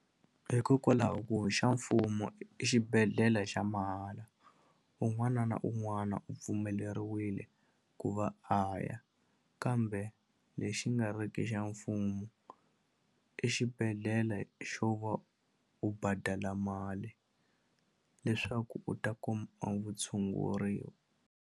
Hikokwalaho ku xa mfumo i xibedhlele xa mahala un'wana na un'wana u pfumeleriwile ku va a ya kambe lexi nga riki xa mfumo i xibedhlele xo va u badala mali leswaku u ta kuma vu tshunguriwa.